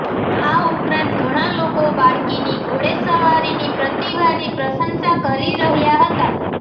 આ ઉપરાંત ઘણા લોકો બાળકીની ઘોડેસવારીની પ્રતિભાની પ્રશંસા કરી રહ્યા હતા